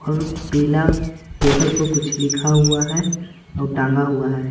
और पीला पेपर पर कुछ लिखा हुआ है और टांगा हुआ है।